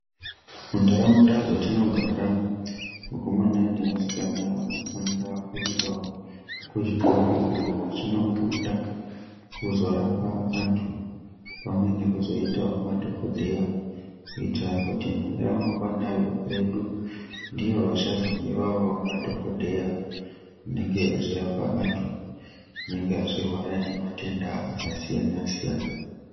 Munharaunda dzatinogara, wakomana newasikana wanofanira kuendawo kuzvikora iyo wachinofunda kuzorapa wandu pamwe nekuzoitawo madhokodheya kuitira kuti ramangwana redu ndiwo wachazodiwawo madhokodheya anenge echizorapa andu, anenge achirwara nematenda akasiyana siyana.